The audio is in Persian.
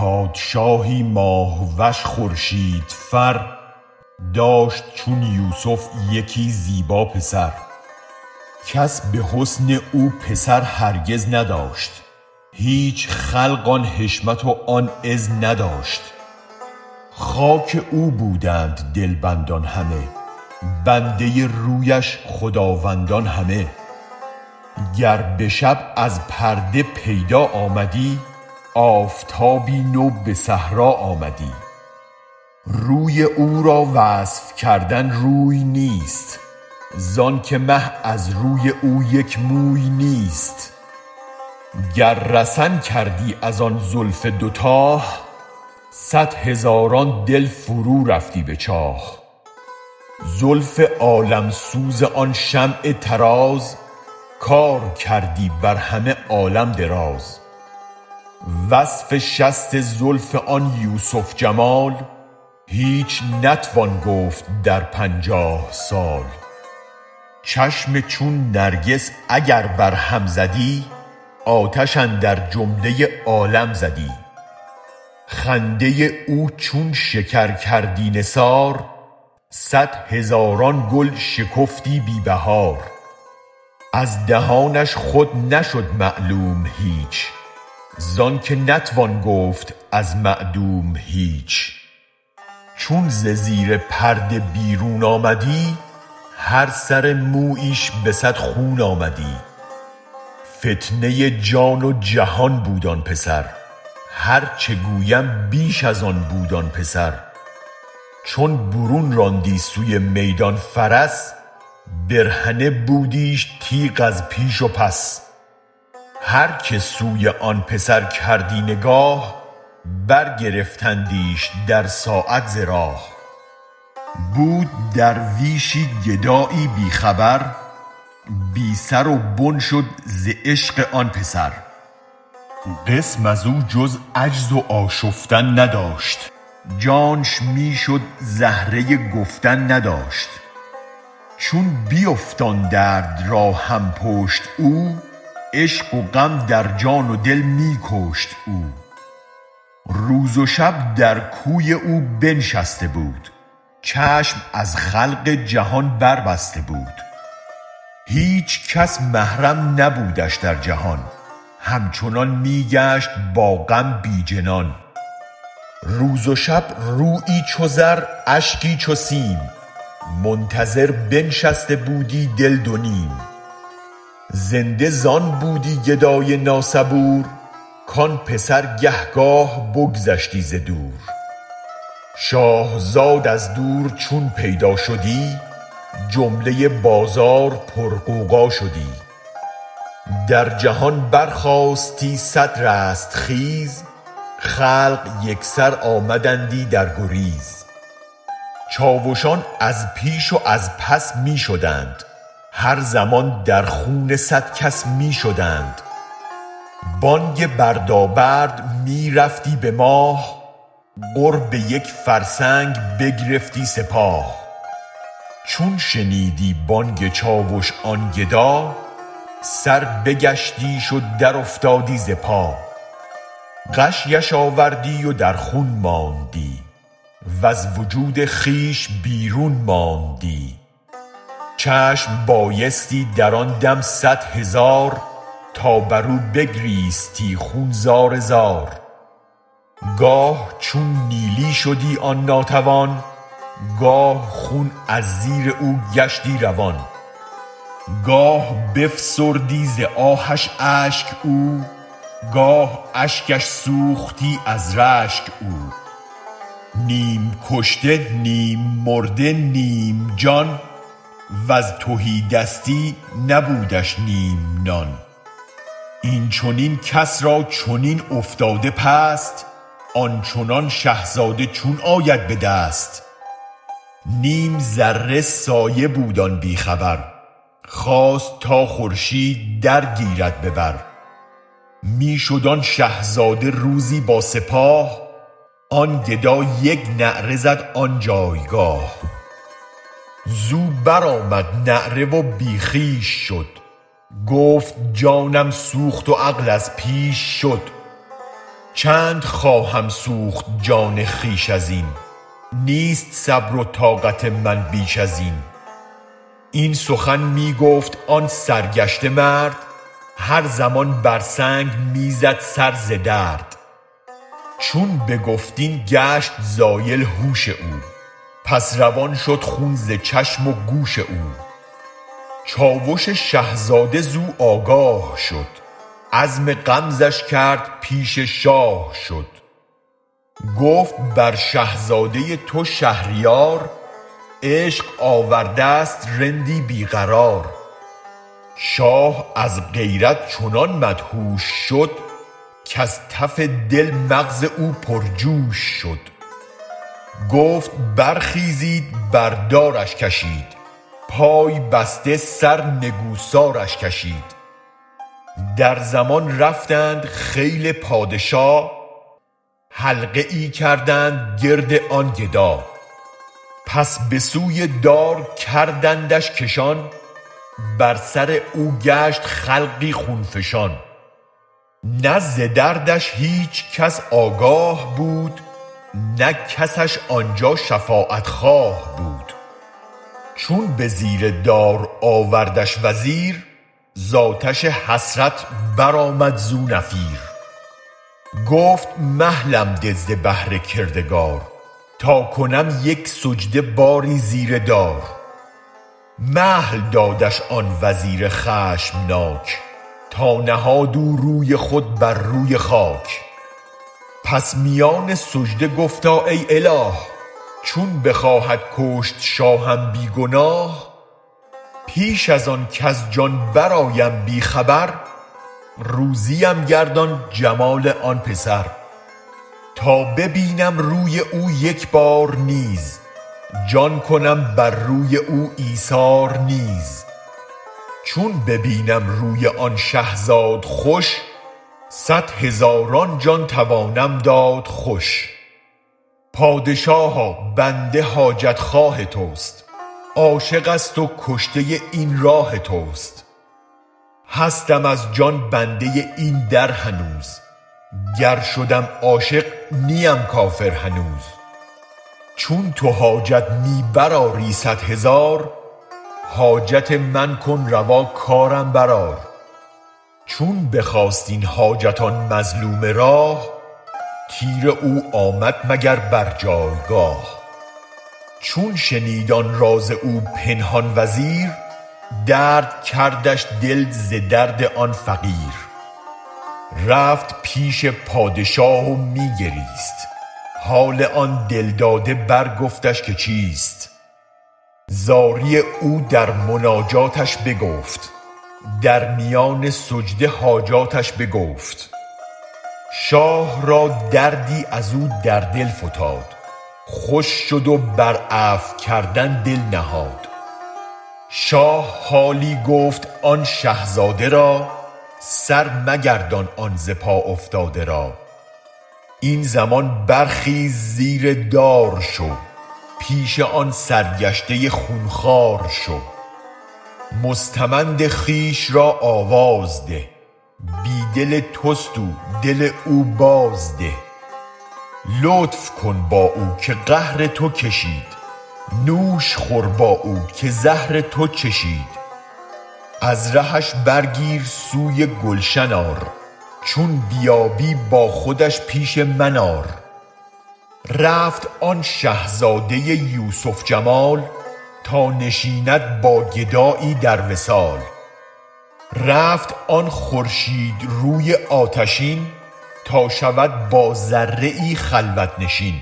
پادشاهی ماه وش خورشید فر داشت چون یوسف یکی زیبا پسر کس به حسن او پسر هرگز نداشت هیچ خلق آن حشمت و آن عز نداشت خاک او بودند دلبندان همه بنده رویش خداوندان همه گر به شب از پرده پیدا آمدی آفتابی نو به صحرا آمدی روی او را وصف کردن روی نیست زانک مه از روی او یک موی نیست گر رسن کردی از آن زلف دو تاه صد هزاران دل فرو رفتی به چاه زلف عالم سوز آن شمع طراز کار کردی برهمه عالم دراز وصف شست زلف آن یوسف جمال هیچ نتوان گفت در پنجاه سال چشم چون نرگس اگر بر هم زدی آتش اندر جمله عالم زدی خنده او چون شکر کردی نثار صد هزاران گل شکفتی بی بهار از دهانش خود نشد معلوم هیچ زانک نتوان گفت از معدوم هیچ چون ز زیر پرده بیرون آمدی هر سر مویش به صد خون آمدی فتنه جان و جهان بود آن پسر هرچ گویم بیش از آن بود آن پسر چو برون راندی سوی میدان فرس برهنه بودیش تیغ از پیش و پس هرک سوی آن پسر کردی نگاه برگرفتندیش در ساعت ز راه بود درویشی گدایی بی خبر بی سر و بن شد ز عشق آن پسر قسم ازو جز عجز و آشفتن نداشت جانش می شد زهره گفتن نداشت چون بیافت آن درد را هم پشت او عشق و غم درجان و دل می کشت او روز و شب در کوی او بنشسته بود چشم از خلق جهان بربسته بود هیچ کس محرم نبودش در جهان همچنان می گشت با غم بی جنان روز و شب رویی چو زر اشکی چو سیم منتظر بنشسته بودی دل دو نیم زنده زان بودی گدای نا صبور کان پسر گه گاه بگذشتی ز دور شاه زاد از دور چون پیدا شدی جمله بازار پر غوغا شدی در جهان برخاستی صد رستخیز خلق یک سر آمدندی درگریز چاوشان از پیش و از پس می شدند هر زمان در خون صد کس می شدند بانگ بردا برد می رفتی به ماه قرب یک فرسنگ بگرفتی سپاه چون شنیدی بانگ چاوش آن گدا سر بگشتیش و در افتادی ز پا غشیش آوردی و در خون ماندی وز وجود خویش بیرون ماندی چشم بایستی در آن دم صد هزار تا برو بگریستی خون زار زار گاه چون نیلی شدی آن ناتوان گاه خون از زیر او گشتی روان گاه بفسردی ز آهش اشک او گاه اشکش سوختی از رشک او نیم کشته نیم مرده نیم جان وز تهی دستی نبودش نیم نان این چنین کس را چنین افتاده پست آن چنان شه زاده چون آید به دست نیم ذره سایه بود آن بی خبر خواست تا خورشید درگیرد ببر می شد آن شه زاده روزی با سپاه آن گدا یک نعره زد آن جایگاه زو برآمد نعره و بی خویش شد گفت جانم سوخت و عقل از پیش شد چند خواهم سوخت جان خویش ازین نیست صبر و طاقت من بیش ازین این سخن می گفت آن سرگشته مرد هر زمان بر سنگ می زد سر ز درد چون بگفت این گشت زایل هوش او پس روان شد خون ز چشم و گوش او چاوش شه زاده زو آگاه شد عزم غمزش کرد پیش شاه شد گفت بر شه زاده تو شهریار عشق آوردست رندی بی قرار شاه از غیرت چنان مدهوش شد کز تف دل مغز او پر جوش شد گفت برخیزید بردارش کشید پای بسته سر نگوسارش کشید در زمان رفتند خیل پادشا حلقه ای کردند گرد آن گدا پس بسوی دار کردندش کشان بر سر او گشت خلقی خون فشان نه ز دردش هیچ کس آگاه بود نه کسش آنجا شفاعت خواه بود چون به زیر دار آوردش وزیر ز آتش حسرت برآمد زو نفیر گفت مهلم ده ز بهر کردگار تا کنم یک سجده باری زیر دار مهل دادش آن وزیر خشم ناک تا نهاد او روی خود بر روی خاک پس میان سجده گفتا ای اله چون بخواهد کشت شاهم بی گناه پیش از آن کز جان برآیم بی خبر روزیم گردان جمال آن پسر تا ببینم روی او یک بار نیز جان کنم بر روی او ایثار نیز چون ببینم روی آن شه زاد خوش صد هزار جان توانم داد خوش پادشاها بنده حاجت خواه تست عاشقست و کشته این راه تست هستم از جان بنده این در هنوز گر شدم عاشق نیم کافر هنوز چون تو حاجت می بر آری صد هزار حاجت من کن روا کارم برآر چون بخواست این حاجت آن مظلوم راه تیر او آمد مگر بر جایگاه چون شنید آن راز او پنهان و زیر درد کردش دل ز درد آن فقیر رفت پیش پادشاه و می گریست حال آن دل داده برگفتش که چیست زاری او در مناجاتش بگفت در میان سجده حاجاتش بگفت شاه را دردی ازو در دل فتاد خوش شد و بر عفو کردن دل نهاد شاه حالی گفت آن شه زاده را سر مگردان آن ز پا افتاده را این زمان برخیز زیر دار شو پیش آن سرگشته خون خوار شو مستمند خویش را آواز ده بی دل تست او دل او بازده لطف کن با او که قهر تو کشید نوش خور با او که زهر تو چشید از رهش برگیر سوی گلشن آر چون بیایی با خودش پیش من آر رفت آن شه زاده یوسف جمال تا نشیند با گدایی در وصال رفت آن خورشید روی آتشین تا شود با ذره خلوت نشین